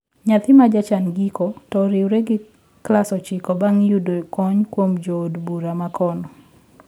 Nyathi majachan giko to oriure gi klas ochiko bang` yudo kony kuom jo od bura makono